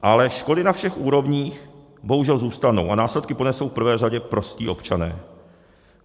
Ale škody na všech úrovních bohužel zůstanou a následky ponesou v prvé řadě prostí občané.